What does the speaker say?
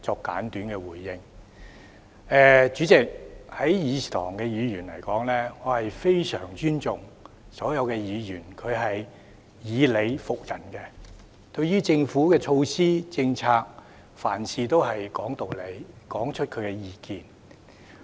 代理主席，在議事堂內，我非常尊重所有以理服人的議員；他們對於政府的措施及政策，凡事都是講道理，說出自己的意見。